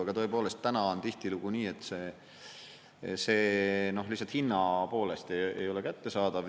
Aga tõepoolest, täna on tihtilugu nii, et see lihtsalt hinna poolest ei ole kättesaadav.